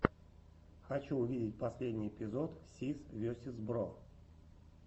хочу увидеть последний эпизод сис весиз бро